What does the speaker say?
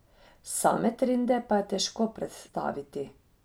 Same trende pa je težko predstaviti.